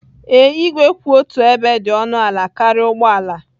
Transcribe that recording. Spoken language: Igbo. Ee, igwe kwụ otu ebe dị ọnụ ala karịa ụgbọ ala.